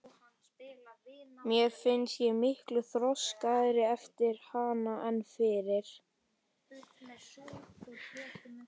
Mér fannst ég miklu þroskaðri eftir hana en fyrir.